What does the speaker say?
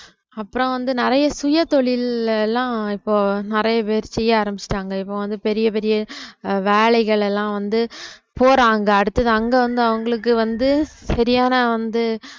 அப்புறம் வந்து ஆஹ் நிறைய சுயதொழில் எல்லாம் இப்போ நிறைய பேர் செய்ய ஆரம்பிச்சுட்டாங்க இப்ப வந்து பெரிய பெரிய ஆஹ் வேலைகள் எல்லாம் வந்து போறாங்க அடுத்தது அங்க வந்து அவங்களுக்கு வந்து சரியான வந்து